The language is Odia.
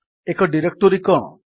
ଏକ ଡିରେକ୍ଟୋରୀ କଣ